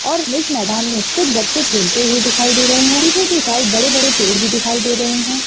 और इस मैदान में कुछ बच्चे खेलते हुए दिखाई दे रहे हैं | पीछे के साइड बड़े-बड़े पेड़ भी दिखाई दे रहे हैं।